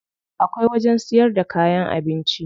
Akwai wajen siyar da kayan abinci.